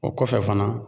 O kɔfɛ fana